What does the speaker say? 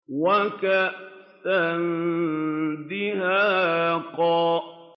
وَكَأْسًا دِهَاقًا